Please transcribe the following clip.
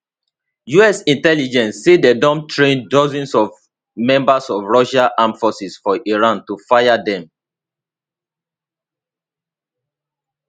us intelligence say dem don train dozens of members of russia armed forces for iran to fire dem